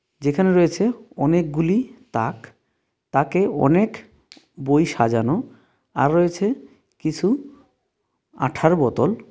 যেখানে রয়েছে অনেকগুলি তাক তাকে অনেক বই সাজানো আর রয়েছে কিসু আঠার বোতল.